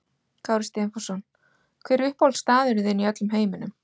Kári Stefánsson Hver er uppáhaldsstaðurinn þinn í öllum heiminum?